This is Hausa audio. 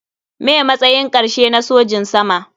Me matsayin karshe na sojin sama.